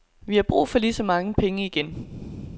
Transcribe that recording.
Vi har brug for lige så mange penge igen.